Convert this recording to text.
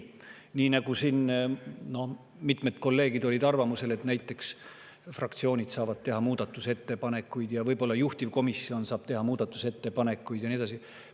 Näiteks olid mitmed kolleegid arvamusel, et fraktsioonid saavad teha muudatusettepanekuid ja võib-olla saab juhtivkomisjon teha muudatusettepanekuid ja nii edasi.